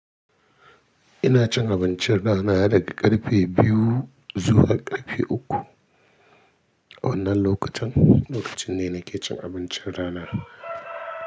Ina cin abincin rana daga karfe biyu zuwa karfe uku. Wannan lokacin, lokaci ne nake cin abincin rana.